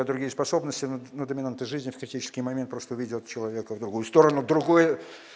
на другие способности на до доминанты жизни в критический момент просто ведёт человека в другую сторону другое